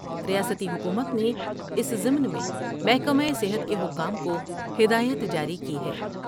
ریاستی حکومت نے اس ضمن میں محکمہ صحت کے حکام کو ہدایت جاری کی ہے ۔